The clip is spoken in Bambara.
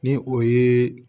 Ni o ye